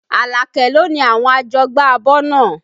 Alake lo ni àwọn àjọgbá abọ́ náà